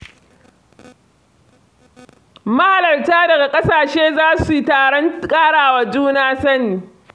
Mahalarta daga ƙasashe za su taron ƙara wa juna sani.